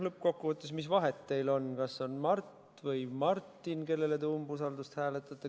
Lõppkokkuvõttes, mis vahet teil on, kas on Mart või Martin, kellele umbusalduse avaldamist te hääletate.